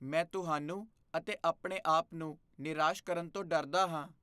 ਮੈਂ ਤੁਹਾਨੂੰ ਅਤੇ ਆਪਣੇ ਆਪ ਨੂੰ ਨਿਰਾਸ਼ ਕਰਨ ਤੋਂ ਡਰਦਾ ਹਾਂ।